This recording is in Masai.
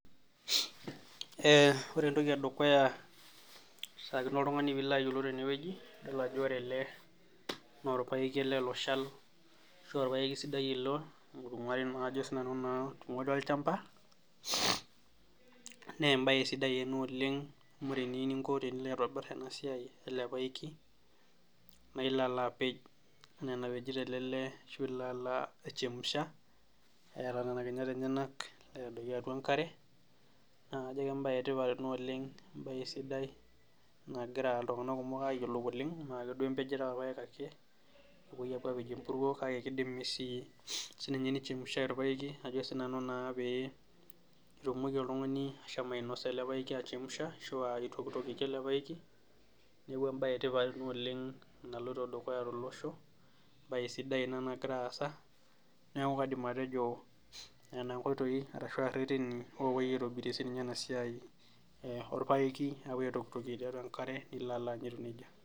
Ee ore entoki edukuya kishaakino oltungani pilo ayiolou tenewueji yiolo ajo ore ele naa orpaeki ele loshal ashu orpaeki sidai ilo ajo naa sinanu naa oingwari olchamba, naa embae sidai ena oleng amu ore eninko teniyieu nilo aitobir enasiai elepaeki naa ilo apej anaa enapejito ele lee ashu ilo alo aichemsha eeta nena kinyat enyenak aitadoiki atua enkare naa kajo embae etipat ena oleng , embae sidai nagira iltunganak kumok ayiolou oleng mmee akeduo empejeto orpaek ake, kepuoi apej empuruo kake kidimi sii nichemshai orpaeki ajo naa sinanu pee itumoki oltungani ashomo ainosa elepaeki aichemsha ashua aitokitokie elepaeki niaku embae etipat ina oleng naloito dukuya tolosho, embae sidai ina nagira aasa , niaku kaidim atejo nena nkoitoi ashuaa reteni opuoi aitobirie sininye enasiai e orpaeki apuo aitokitokie tiatua enkare nilo alo ayier nejia.